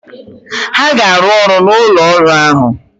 Ha ga-arụ ọrụ n'ụlọ ọrụ ahụ!